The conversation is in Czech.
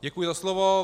Děkuji za slovo.